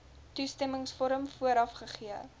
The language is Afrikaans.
toestemmingsvorm vooraf gegee